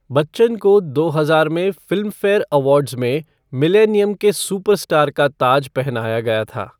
बच्चन को दो हजार में फ़िल्मफ़ेयर अवार्ड्स में मिलेनियम के सुपरस्टार का ताज पहनाया गया था।